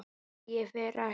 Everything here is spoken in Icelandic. Nei, ég fer ekkert.